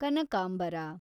ಕನಕಾಂಬರ